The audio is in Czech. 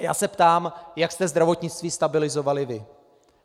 A já se ptám, jak jste zdravotnictví stabilizovali vy.